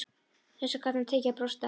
Þessu gat hann tekið og brosti að.